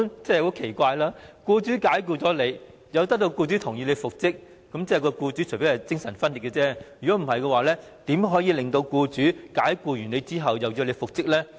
這是很奇怪的，僱員被僱主解僱後，要得到僱主的同意才能復職，除非僱主精神分裂，否則怎可能在作出解僱後，又同意僱員復職呢？